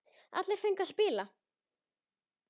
Allir fengu að spila.